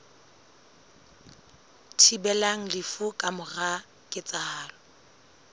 thibelang lefu ka mora ketsahalo